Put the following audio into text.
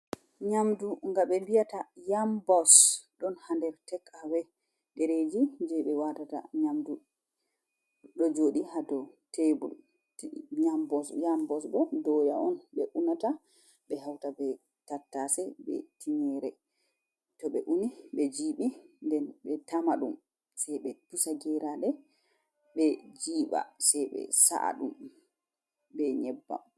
Nyamdu nga ɓe mbiyata yambos, ɗon haa nder tek'awe ɗereeji jey ɓe waatata nyamdu, ɗo jooɗi haa dow tebur. Yambos, yambos bo dooya on ɓe unata, ɓe hawta be tattase be tinngeere, to ɓe uni ɓe jiiɓi, nden ɓe tama ɗum, sey ɓe pusa geeraaɗe ɓe jiiɓa, jey ɓe sa’a ɗum be nyebbam.